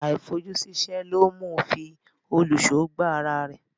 Àìfojúsíṣẹ́ ló mú un fi òlùṣó gbá ara rẹ̀.